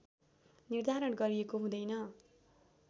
निर्धारण गरिएको हुँदैन